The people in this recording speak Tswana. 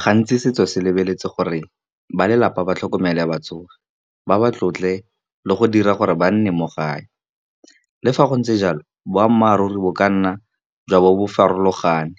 Gantsi setso se lebeletse gore ba lelapa ba tlhokomelo ya batsofe ba ba tlotle le go dira gore ba nne mo gae. Le fa go ntse jalo boammaaruri bo ka nna jwa bo bo farologane,